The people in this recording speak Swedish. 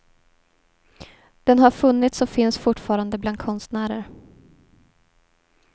Den har funnits och finns fortfarande bland konstnärer.